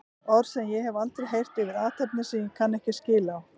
Orð sem ég hef aldrei heyrt yfir athafnir sem ég kann ekki skil á.